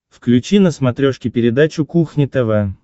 включи на смотрешке передачу кухня тв